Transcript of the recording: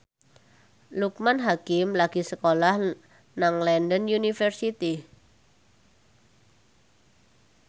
Loekman Hakim lagi sekolah nang London University